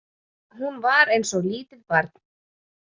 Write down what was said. Hún var eins og lítið barn.